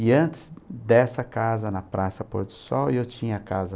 E antes dessa casa na Praça Pôr do Sol, eu tinha casa...